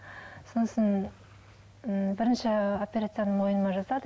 сосын м бірінші операцияны мойныма жасады